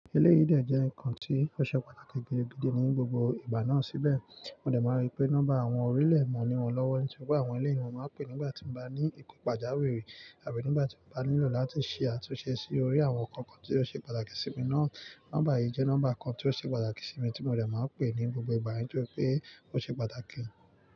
Eleyi de jẹ́ ǹkan tí ó ṣe pàtàkì gidigidi ní gbogbo ìgbà náà síbẹ̀. Mo dẹ̀ máa rí pé nọ́mbà àwọn orílẹ̀ mọ̀ ní wọ́n lọ́wọ́ nítorí pé àwọn eleyen won máa ń pè nígbà tí mo bá ní nkan pajáwirì àbí nígbà tí mo bá nílò láti ṣe àtúnṣe sí orí àwọn ǹkan kan tí ó ṣe pàtàkì sí mi náà. Nọ́mbà yìí jẹ́ nọ́mbà kan tí ó ṣe pàtàkì sí mi tí mo dẹ̀ máa ń pè ní gbogbo ìgbà nítorí pé ó ṣe pàtàkì.